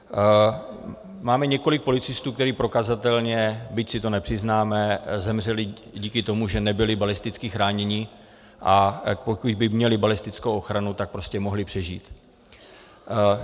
Máme několik policistů, kteří prokazatelně, byť si to nepřiznáme, zemřeli díky tomu, že nebyli balisticky chráněni, a pokud by měli balistickou ochranu, tak prostě mohli přežít.